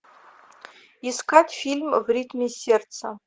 искать фильм в ритме сердца